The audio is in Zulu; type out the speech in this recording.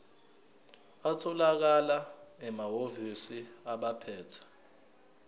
atholakala emahhovisi abaphethe